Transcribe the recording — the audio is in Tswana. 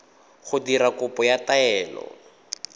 go dira kopo ya taelo